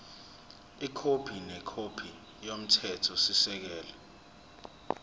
ikhophi nekhophi yomthethosisekelo